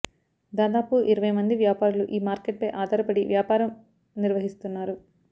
దాదాపు ఇరవై మంది వ్యాపారులు ఈ మార్కెట్పై ఆధారపడి వ్యాపారం నిర్వహిస్తున్నారు